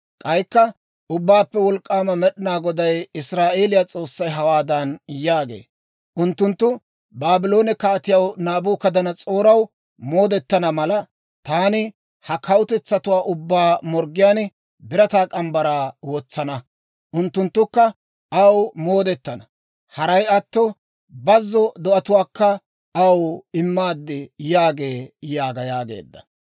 K'aykka Ubbaappe Wolk'k'aama Med'inaa Goday, Israa'eeliyaa S'oossay hawaadan yaagee; ‹Unttunttu Baabloone Kaatiyaa Naabukadanas'ooraw moodetana mala, taani ha kawutetsatuwaa ubbaa morggiyaan birataa morgge mitsaa wotsana; unttunttukka aw moodetana. Haray attina, bazzo do'atuwaakka aw immaad› yaagee yaaga» yaageedda.